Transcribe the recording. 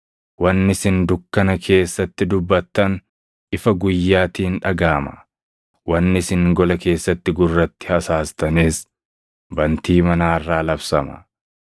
Wanni isin dukkana keessatti dubbattan, ifa guyyaatiin dhagaʼama; wanni isin gola keessatti gurratti hasaastanis bantii manaa irraa labsama.